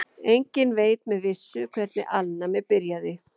Enginn veit með vissu hvernig alnæmi byrjaði.